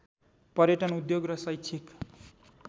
पर्यटन उद्योग र शैक्षिक